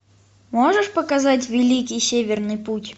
можешь показать великий северный путь